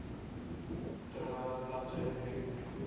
terwyl bladsy drie